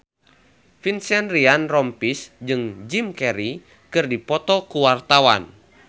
Vincent Ryan Rompies jeung Jim Carey keur dipoto ku wartawan